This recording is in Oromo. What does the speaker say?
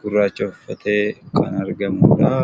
gurraacha uffatee kan argamudha.